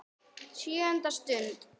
SJÖUNDA STUND